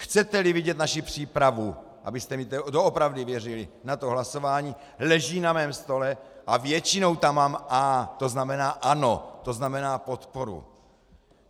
Chcete-li vidět naši přípravu, abyste mi doopravdy věřili, na hlasování, leží na mém stole a většinou tam mám A, to znamená ano, to znamená podporu.